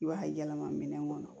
I b'a yɛlɛma minɛn kɔnɔ